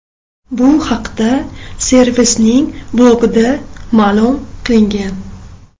Bu haqda servisning blogida ma’lum qilingan .